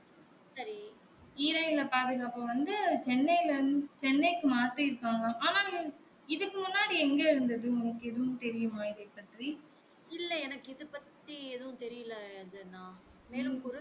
ஈரநில பாதுகாப்பு வந்து சென்னைல சென்னைக்கு மாத்தி இருக்காங்க ஆனா இதுக்கு முன்னாடி எங்க இருந்தது உனக்கு எதும் தெரியும்மா இதை பற்றி